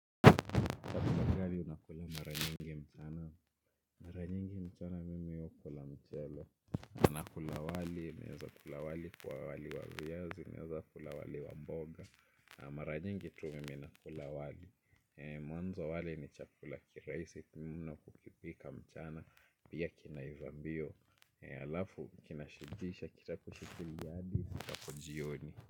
Kulagali unakula maranyingi mchana. Maranyingi mchana mimi ukula mchele. Anakula wali, meweza kula wali kwa wali wa viyazi, naweza kula wali wa mboga. Maranyingi tu mimi nakula wali. Mwanzo wali ni cha kula kiraisi mno kukipika mchana pia kinaivambio. Alafu kinashibisha, kitapo shikilia hadi ifikapa jioni.